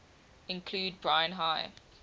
include brine high